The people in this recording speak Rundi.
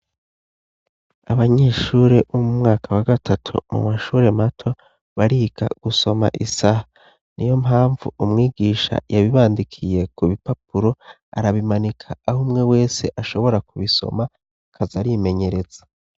Abanyeshure bo mu mwaka wa gatatu mu mashure mato, barika gusoma isaha. Ni yo mpamvu umwigisha yabibandikiye ku bipapuro, arabimanika aho umwe wese ashobora kubisoma akaza arimenyereza.